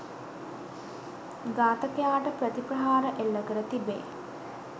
ඝාතකයාට ප්‍රතිප්‍රහාර එල්ල කර තිබේ